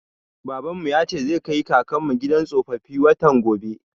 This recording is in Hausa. Babanmu ya ce zai kai kakanmu gidan tsofaffi, watan gobe.